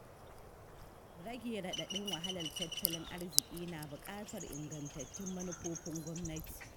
Rage raɗaɗin wahalar tattalin arziƙi na buƙatar ingantattun manufofin gwamnati.